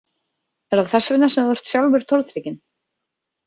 Er það þess vegna sem þú ert sjálfur tortrygginn?